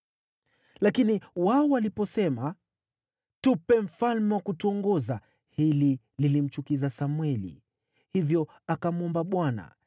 Lakini wao waliposema, “Tupe mfalme wa kutuongoza,” hili lilimchukiza Samweli, hivyo akamwomba Bwana .